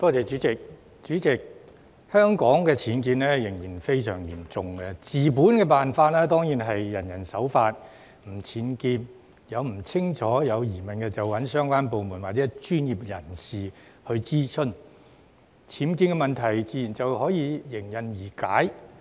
主席，香港的僭建問題仍然非常嚴重，治本方法當然是人人守法，不作僭建，以及在有疑問時諮詢相關部門或專業人士，這樣僭建問題自然迎刃而解。